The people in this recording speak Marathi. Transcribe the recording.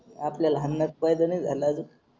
आपल्याला हानणात पैदा नाही झाला अजून